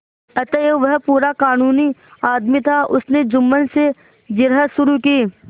अतएव वह पूरा कानूनी आदमी था उसने जुम्मन से जिरह शुरू की